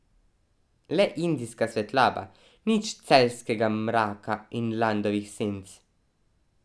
Le indijska svetloba, nič celjskega mraka in Ladovih senc.